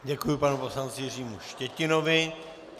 Děkuji panu poslanci Jiřímu Štětinovi.